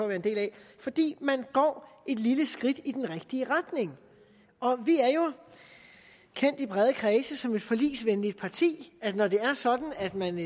være en del af fordi man går et lille skridt i den rigtige retning vi er jo kendt i brede kredse som et forligsvenligt parti når det er sådan at man